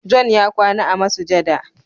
"John" ya kwana a masujada.